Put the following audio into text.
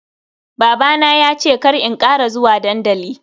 Babana ya ce kar in kara zuwa dandali.